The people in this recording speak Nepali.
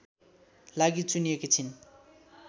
लागी चुनिएकी छिन्